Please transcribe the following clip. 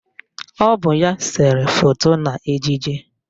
Ọ bụ ya sere foto n'ejije